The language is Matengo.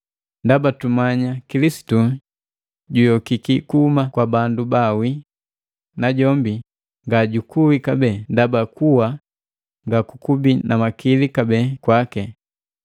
Ndaba tumanya Kilisitu juyokiki kuhuma kwa bandu baawi najombi nga jukui kabee, ndaba kuwa nga kukubi na makili kabee kwaake.